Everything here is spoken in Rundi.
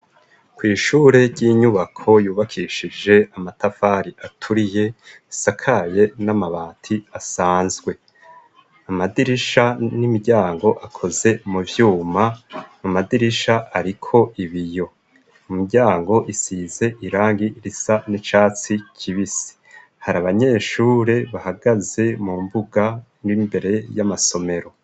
Kw' ishure ry'inyubako yubakishije amatafari aturiye, isakaye n'amabati asanzwe. Amadirisha n'imiryango akoze mu vyuma. Amadirisha ariko ibiyo, imiryango isize irangi risa n'icatsi kibisi. Hari abanyeshure bahagaze mu mbuga n'imbere y'amasomero.